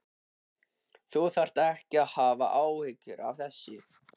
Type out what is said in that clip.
Þú þarft ekki að hafa áhyggjur af þessu.